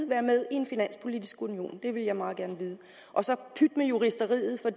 være med en finanspolitisk union det vil jeg meget gerne vide og så pyt med juristeriet for